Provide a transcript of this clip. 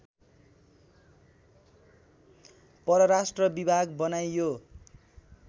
परराष्ट्र विभाग बनाइयो